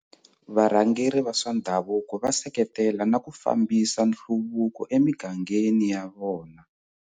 Varhangeri va swa ndhavuko va seketela na ku fambisa nhluvuko emigangeni ya vona.